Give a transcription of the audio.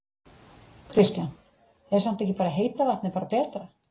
Kristján: Er samt ekki bara heita vatnið bara betra?